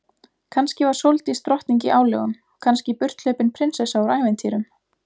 Kannski var Sóldís drottning í álögum, kannski burthlaupin prinsessa úr ævintýrum.